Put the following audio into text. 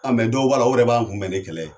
A mɛ dow b'ala olu wɛrɛ b'an kunbɛn ni kɛlɛ ye